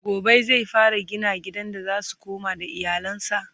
gobe zai fara gina gidan da zasu koma da iyalansa?